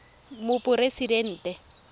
moporesidente